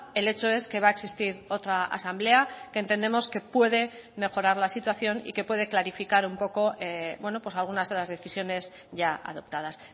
el hecho es que va a existir otra asamblea que entendemos que puede mejorar la situación y que puede clarificar un poco algunas de las decisiones ya adoptadas